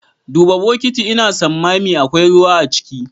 Duba bukiti Ina sammami akwai ruwa ciki.